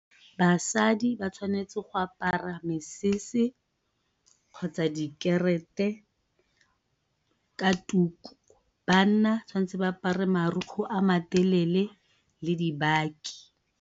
Basadi ba tshwanetse go apara mesese kgotsa ka tuku. Banna tshwantse ba apare marukgwe a matelele le dibaki.